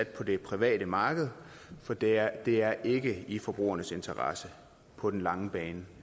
på det private marked for det er det er ikke i forbrugernes interesse på den lange bane